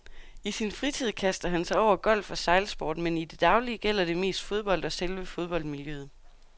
I sin fritid kaster han sig over golf og sejlsport, men i det daglige gælder det mest fodbold og selve fodboldmiljøet.